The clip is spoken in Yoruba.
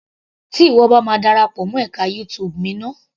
Tí ìwọ bá ma darapọ̀ mọ́ ẹka YouTube mi ná.